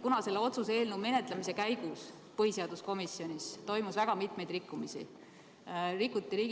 Kuna selle otsuse eelnõu menetlemise käigus toimus põhiseaduskomisjonis väga mitmeid rikkumisi – rikuti